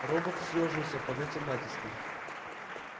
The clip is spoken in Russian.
робот съёжился под этим натиском